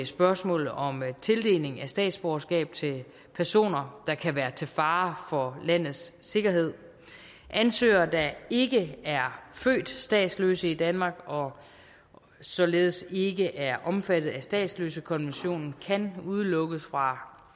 spørgsmålet om tildeling af statsborgerskab til personer der kan være til fare for landets sikkerhed ansøgere der ikke er født statsløse i danmark og således ikke er omfattet af statsløsekonventionen kan udelukkes fra